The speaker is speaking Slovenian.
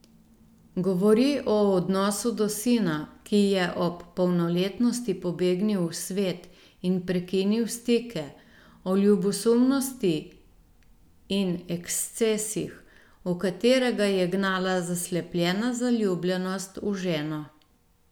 Govori o odnosu do sina, ki je ob polnoletnosti pobegnil v svet in prekinil stike, o ljubosumnosti in ekscesih, v katere ga je gnala zaslepljena zaljubljenost v ženo.